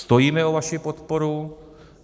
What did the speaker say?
Stojíme o vaši podporu.